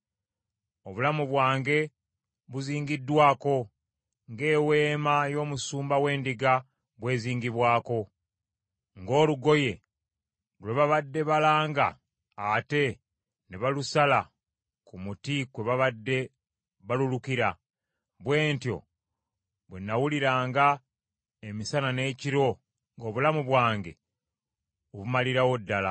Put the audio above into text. Obulamu bwange buzingiddwako ng’eweema y’omusumba w’endiga bw’enzigibwako. Ng’olugoye lwe babadde balanga ate ne balusala ku muti kwe babadde balulukira, bwe ntyo bwe nawuliranga emisana n’ekiro nga obulamu bwange obumalirawo ddala.